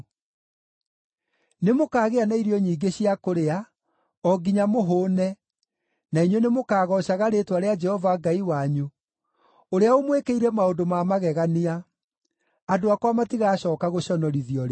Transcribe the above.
Nĩmũkagĩa na irio nyingĩ cia kũrĩa, o nginya mũhũũne, na inyuĩ nĩmũkagoocaga rĩĩtwa rĩa Jehova Ngai wanyu, ũrĩa ũmwĩkĩire maũndũ ma magegania; andũ akwa matigacooka gũconorithio rĩngĩ.